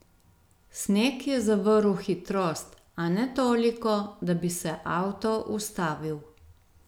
Sneg je zavrl hitrost, a ne toliko, da bi se avto ustavil.